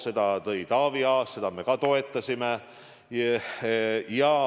Selle tõi Taavi Aas esile ja seda me ka toetasime.